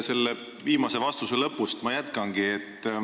Selle viimase vastuse lõpust ma jätkangi.